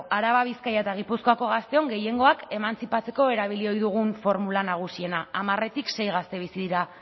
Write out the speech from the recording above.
araba bizkaia eta gipuzkoako gazteon gehiengoak emantzipatzeko erabili ohi dugun formula nagusiena hamarretik sei gazte bizi dira